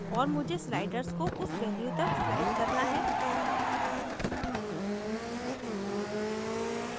और मुझे sliders को उस value तक slide करना है